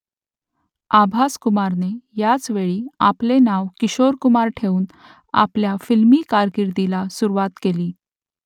आभास कुमारने याच वेळी आपले नाव किशोर कुमार ठेवून आपल्या फिल्मी कारकिर्दीला सुरुवात केली